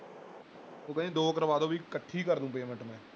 ਉਹ ਕਹਿੰਦੀ ਦੋ ਕਰਵਾ ਦਓ ਵੀ ਇਕੱਠੀ ਕਰ ਦਊ payment ਮੈਂ